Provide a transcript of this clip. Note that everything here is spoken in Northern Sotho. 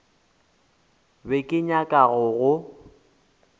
be ke nyaka go go